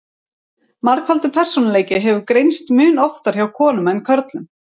Margfaldur persónuleiki hefur greinst mun oftar hjá konum en körlum.